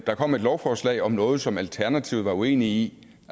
der kom et lovforslag om noget som alternativet var uenige i